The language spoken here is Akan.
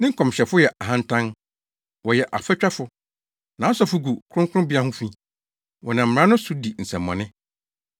Ne nkɔmhyɛfo yɛ ahantan; wɔyɛ afatwafo. Nʼasɔfo gu kronkronbea ho fi. Wɔnam mmara no so di nsɛmmɔne.